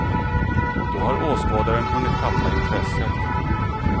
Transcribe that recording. Då har åskådaren hunnit tappa intresset.